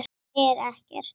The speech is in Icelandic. En þú segir ekkert.